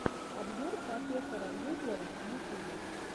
обзор профессора гуглова в ютюбе